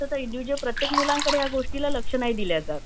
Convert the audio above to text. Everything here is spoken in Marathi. तर इंडिविजुयल प्रत्येक मुलाकडे ह्या गोष्टी लक्ष नही दिल्या जात